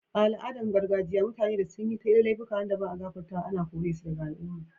A'aladan gargajiya, mutane da sun yi laifuka wanda ba'a gafartawa ana kore su daga al'umman.